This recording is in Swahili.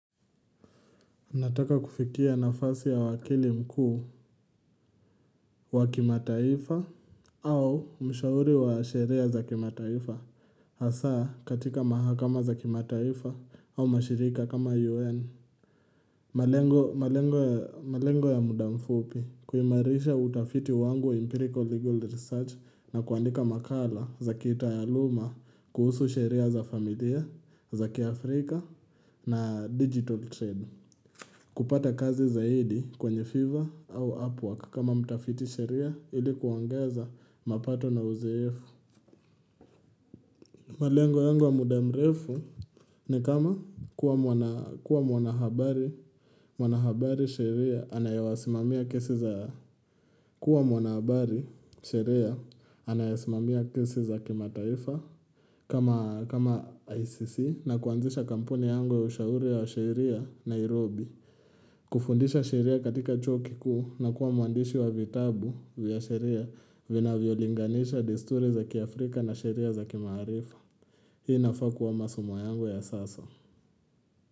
Nataka kufikia nafasi ya wakili mkuu wa kimataifa, au mshauri wa sheria za kimataifa hasa katika mahakama za kimataifa au mashirika kama UN. Malengo ya muda mfupi:, kuimarisha utafiti wangu empirical legal research na kuandika makala za kitaaluma kuhusu sheria za familia za kiafrika na digital trade. Kupata kazi zaidi kwenye fivver au Upwork kama mtafiti sheria ilikuongeza mapato na uzoefu. Malengo yangu wa mudamrefu ni kama kuwa mwanahabari sheria anayewasimamia kesi za kimataifa kama ICC na kuanzisha kampuni yangu ya ushauri wa sheria Nairobi. Kufundisha sheria katika chuo kikuu na kuwa mwandishi wa vitabu vya sheria vinavyolinganisha desturi za kiAfrika na sheria za kimaarifa Hii inafaa kuwa masomo yangu ya sasa.